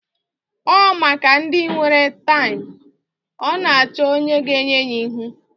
Ọ maka ndị nwere taim. Ọ na-achọ onye ga-enye ya ihu